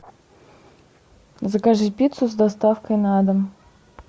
закажи пиццу с доставкой на дом